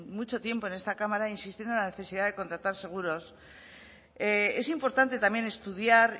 mucho tiempo en esta cámara insistiendo en la necesidad de contratar seguros es importante también estudiar